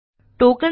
tokens